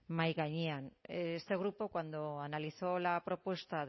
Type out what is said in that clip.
mahaigainean este grupo cuando analizó la propuesta